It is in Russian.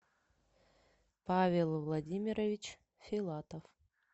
павел владимирович филатов